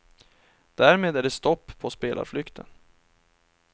Därmed är det stopp på spelarflykten.